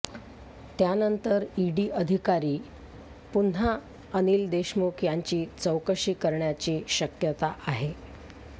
त्यानंतर ईडी अधिकारी पुन्हा अनिल देशमुख यांची चौकशी करण्याची शक्यता आहे